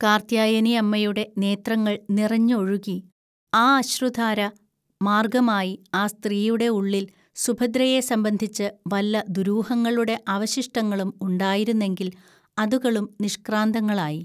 കാർത്ത്യായനിഅമ്മയുടെ നേത്രങ്ങൾ നിറഞ്ഞ് ഒഴുകി, ആ അശ്രുധാര മാർഗ്ഗമായി ആ സ്ത്രീയുടെ ഉള്ളിൽ സുഭദ്രയെ സംബന്ധിച്ച് വല്ല ദുരൂഹങ്ങളുടെ അവശിഷ്ടങ്ങളും ഉണ്ടായിരുന്നെങ്കിൽ അതുകളും നിഷ്‌ക്രാന്തങ്ങളായി